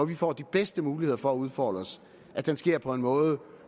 vi får de bedste muligheder for at udfolde os sker på en måde